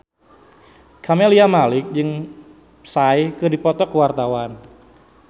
Camelia Malik jeung Psy keur dipoto ku wartawan